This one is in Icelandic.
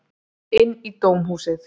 Inn í dómhúsið.